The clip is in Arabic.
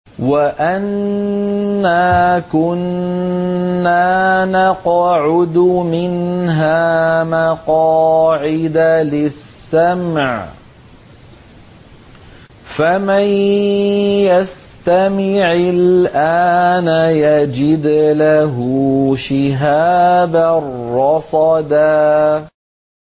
وَأَنَّا كُنَّا نَقْعُدُ مِنْهَا مَقَاعِدَ لِلسَّمْعِ ۖ فَمَن يَسْتَمِعِ الْآنَ يَجِدْ لَهُ شِهَابًا رَّصَدًا